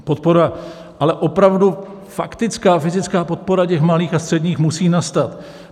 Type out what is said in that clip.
Podpora, ale opravdu faktická, fyzická podpora těch malých a středních musí nastat.